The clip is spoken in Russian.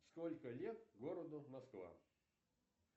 сколько лет городу москва